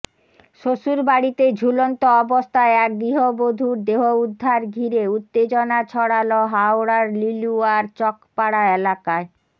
শ্বশুরবাড়িতে ঝুলন্ত অবস্থায় এক গৃহবধূর দেহ উদ্ধার ঘিরে উত্তেজনা ছড়াল হাওড়ার লিলুয়ার চকপাড়া এলাকায়